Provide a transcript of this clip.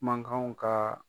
Mankanw ka.